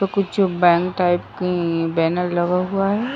तो कुछ bank type की बैनर लगा हुआ है।